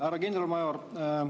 Härra kindralmajor!